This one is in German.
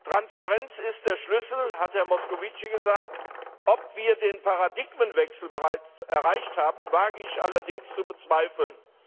Transparenz ist der Schlüssel, hat Herr Moscovici gesagt. Dass wir den Paradigmenwechsel bereits erreicht haben, wage ich allerdings zu bezweifeln.